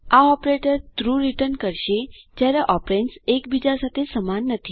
આ operator true return કરશે જયારે ઓપેરેન્દ્સ એક બીજા સાથે સમાન નથી